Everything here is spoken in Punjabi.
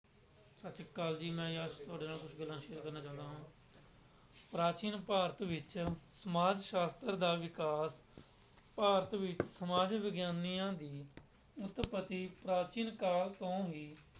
ਸਤਿ ਸ੍ਰੀ ਅਕਾਲ ਜੀ ਮੈਂ ਜਸ ਤੁਹਾਡੇ ਨਾਲ ਕੁਛ ਗੱਲਾਂ share ਕਰਨਾ ਚਾਹੁੰਦਾ ਹਾਂ ਪ੍ਰਾਚੀਨ ਭਾਰਤ ਵਿੱਚ ਸਮਾਜ ਸ਼ਾਸਤਰ ਦਾ ਵਿਕਾਸ ਭਾਰਤ ਵਿੱਚ ਸਮਾਜ ਵਿਗਿਆਨੀਆਂ ਦੀ ਉਤਪਤੀ ਪ੍ਰਾਚੀਨ ਕਾਲ ਤੋਂ ਹੀ